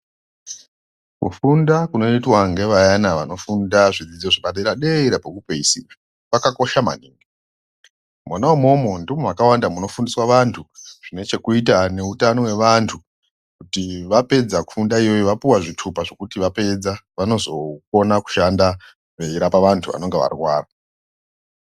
Kufunda kunoitwa ngevayana vanodzidza kuzvidzidzo zvepadera-dera pekupedzisira, kwakakosha maningi. Mona mwomwo ndimwo makawanda muno fundiswa vantu nechekuita neutano hwavantu kuti vapedza kufundaiyoyo vapuva zvitupa zvekuti vapedza vanozokona kushanda veirapa vantu vanonga varwara.